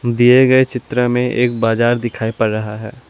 दिए गए चित्र में एक बाजार दिखाई पड़ रहा है।